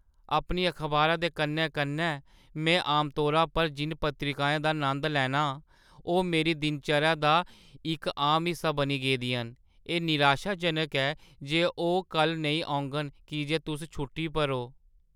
अपनी अखबारा दे कन्नै-कन्नै में आमतौरा पर जिʼनें पत्रिकाएं दा नंद लैन्ना आं ओह् मेरी दिन-चर्या दा इक आम हिस्सा बनी गेदियां न। एह् निराशाजनक ऐ जे ओह् कल्ल नेईं औङन की जे तुस छुट्टी पर ओ।